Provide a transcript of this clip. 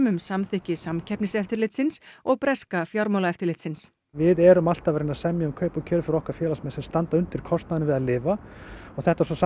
um samþykki Samkeppniseftirlitsins og breska fjármálaeftirlitsins við erum alltaf að reyna að semja um kaup og kjör fyrir okkar félagsmenn sem standa undir kostnaðinum við að lifa og þetta